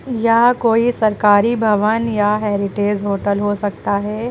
यह कोई सरकारी भवन या हेरिटेज होटल हो सकता है।